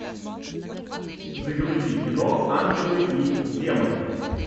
загрузи кино ангелы и демоны